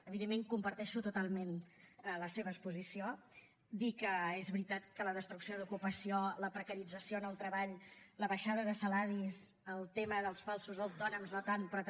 evidentment comparteixo totalment la seva exposició dir que és veritat que la destrucció d’ocupació la precarització en el treball la baixada de salaris el tema dels falsos autònoms no tant però també